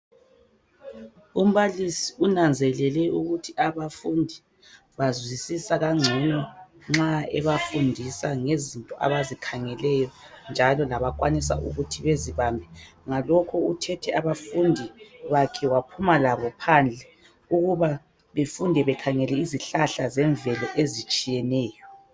Umbalisi unanzelele ukuthi abafundi bazwisisa kangcono nxa ebafundisa ngezinto abazikhangeleyo njalo labakwanisa ukuthi bezibambe. Ngalokho uthethe abafundi bakhe waphuma labo phandle ukuba befunde bekhangele izihlahla zemvelo ezitshiyeneyo.